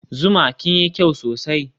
zuma kinyi kyau sosai